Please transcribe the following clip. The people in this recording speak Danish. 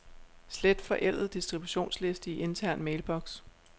Slet forældet distributionsliste i intern mailbox.